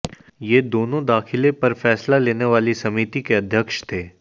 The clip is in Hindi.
ये दोनों दाखिले पर फैसला लेने वाली समिति के अध्यक्ष थे